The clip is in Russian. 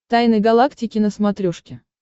тайны галактики на смотрешке